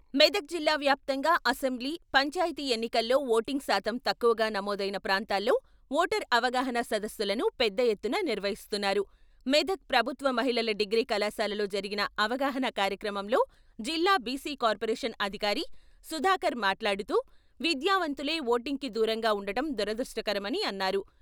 మెదక్ జిల్లా వ్యాప్తంగా అసెంబ్లీ పంచాయతీ ఎన్నికల్లో ఓటింగ్ శాతం తక్కువగా నమోదైన ప్రాంతాల్లో ఓటర్ అవగాహన సదస్సులను పెద్ద ఎత్తున నిర్వహిస్తున్నారు మెదక్ ప్రభుత్వ మహిళల డిగ్రీ కళాశాలలో జరిగిన అవగాహనా కార్యక్రమంలో జిల్లా బిసి కార్పోరేషన్ అధికారి సుధాకర్ మాట్లాడుతూ విద్యావంతులే ఓటింగ్‌కి దూరంగా ఉండటం దురదృష్టకరమని అన్నారు.